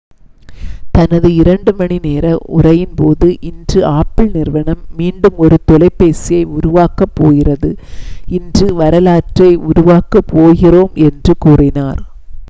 "தனது 2 மணி நேர உரையின் போது ​​""இன்று ஆப்பிள் நிறுவனம் மீண்டும் ஒரு தொலைபேசியை உருவாக்கப் போகிறது இன்று வரலாற்றை உருவாக்கப் போகிறோம்" என்று கூறினார்.